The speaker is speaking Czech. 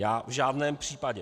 Já v žádném případě.